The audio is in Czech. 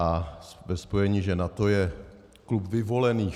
A ve spojení, že NATO je klub vyvolených...